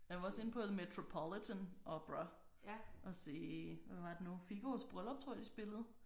Jeg var også inde på The Metropolitan Opera og se hvad var det nu Figaros Bryllup tror jeg de spillede